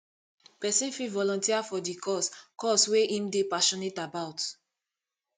pesin fit volunteer for di cause cause wey im dey passionate about